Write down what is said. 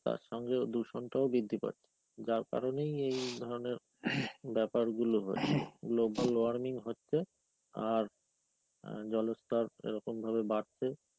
তারসঙ্গে দূষণটাও বৃদ্ধি পাছে.যার কারণেই এই ধরনের বাপ্যারগুলো হচ্ছে. global warming হচ্ছে আর জলস্থর এরকম ভাবে বাড়ছে.